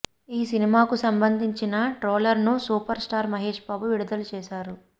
ఈ సినిమాకు సంబంధించిన ట్రైలర్ను సూపర్ స్టార్ మహేష్ బాబు విడుదల చేశారు